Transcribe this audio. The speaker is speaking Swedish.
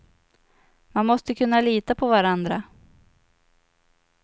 Man måste kunna lita på varandra.